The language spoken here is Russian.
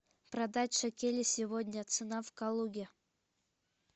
продать шекели сегодня цена в калуге